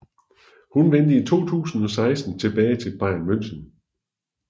Hun vendte i 2016 tilbage til Bayern München